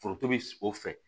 Foronto bi o fɛ